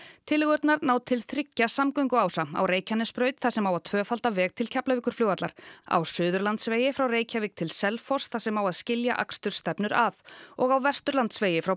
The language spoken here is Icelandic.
tillögurnar ná til þriggja samgönguása á Reykjanesbraut þar sem á að tvöfalda veg til Keflavíkurflugvallar á Suðurlandsvegi frá Reykjavík til Selfoss þar sem á að skilja akstursstefnur að og á Vesturlandsvegi frá